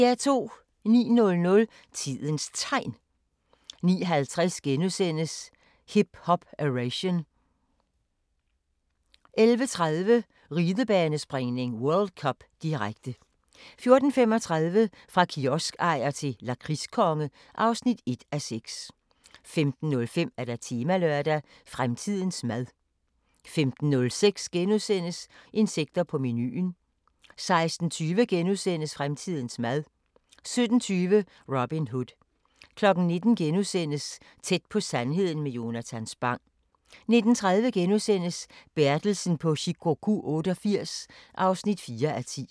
09:00: Tidens Tegn 09:50: Hip Hop-Eration * 11:30: Ridebanespringning: World Cup, direkte 14:35: Fra kioskejer til lakridskonge (1:6) 15:05: Temalørdag: Fremtidens mad 15:06: Insekter på menuen * 16:20: Fremtidens mad * 17:20: Robin Hood 19:00: Tæt på sandheden med Jonatan Spang * 19:30: Bertelsen på Shikoku 88 (4:10)*